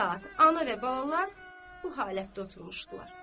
Düz iki saat ana və balalar bu halətdə oturmuşdular.